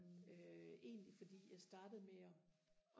øh egentlig fordi jeg startede med og